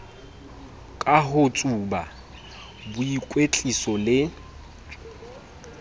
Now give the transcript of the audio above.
ka ho tsuba boikwetliso le